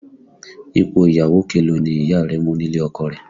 Ipò ìyàwó kelòó ni Ìyá rẹ mú nílé ọkọ rẹ̀?